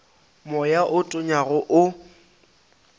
moya wo o tonyago o